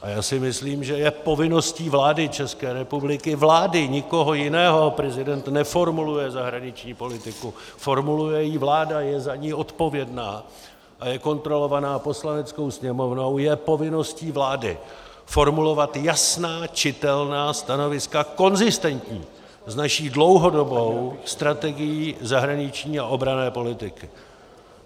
A já si myslím, že je povinností vlády České republiky, vlády, nikoho jiného - prezident neformuluje zahraniční politiku, formuluje ji vláda, je za ni odpovědná a je kontrolovaná Poslaneckou sněmovnou - je povinností vlády formulovat jasná, čitelná stanoviska konzistentní s naší dlouhodobou strategií zahraniční a obranné politiky.